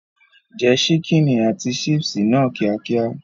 Jẹ ṣíkìnì àti ṣípìsì náà kíákíá.